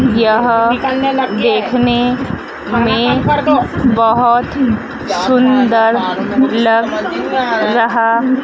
यह देखने में बहुत सुंदर लग रहा--